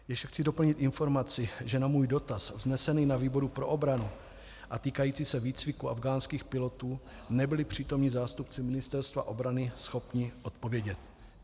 Ještě chci doplnit informaci, že na můj dotaz vznesený na výboru pro obranu a týkající se výcviku afghánských pilotů nebyli přítomní zástupci Ministerstva obrany schopni odpovědět.